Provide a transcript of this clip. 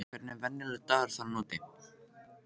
Hvernig er venjulegur dagur þarna úti?